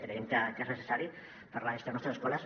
creiem que és necessari per a la gestió de les nostres escoles